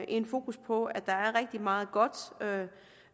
et fokus på at der er rigtig meget godt